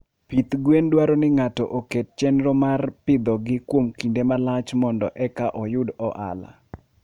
Pith gwen dwaro ni ng'ato oket chenro mar pidhogi kuom kinde malach mondo eka oyud ohala.